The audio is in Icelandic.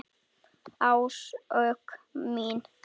Áslaug mín!